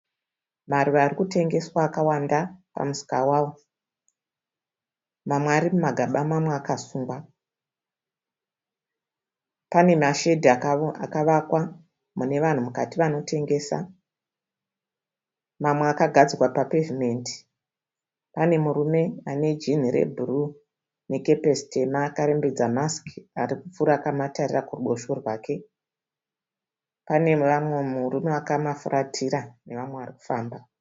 Maruva ari kutengeswa akawanda pamusika wawo. Mamwe ari mumagaba mamwa akasungwa. Pane mashedhi akavakwa mune vanhu mukati vanotengesa. Mamwe akagadzikwa papevhimendi. Pane murume ane jinhi rebhuruu nekepesi tema akarembedza masiki ari kupfuura akamatarira kuruboshwe rwake. Pane umwe murume akamafuratira nevamwe vari kufamba.